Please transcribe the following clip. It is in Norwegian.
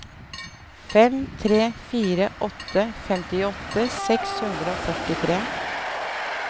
fem tre fire åtte femtiåtte seks hundre og førtitre